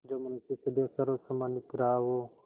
जो मनुष्य सदैव सर्वसम्मानित रहा हो